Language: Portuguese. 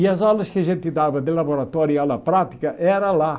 E as aulas que a gente dava de laboratório e aula prática era lá.